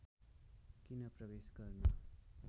किन प्रवेश गर्न